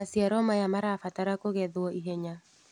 Maciaoro maya marabatara kũgetwo ihenya.